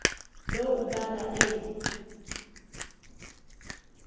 lo ubala eli